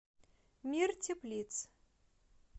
мир теплиц